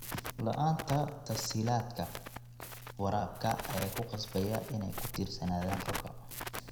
La'aanta tas-hiilaadka waraabka ayaa ku qasbaya inay ku tiirsanaadaan roobka.